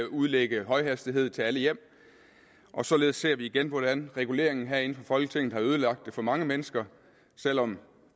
udlægge højhastighed til alle hjem og således ser vi igen hvordan reguleringen herinde fra folketinget har ødelagt det for mange mennesker selv om